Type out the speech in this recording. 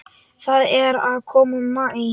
Það er að koma maí.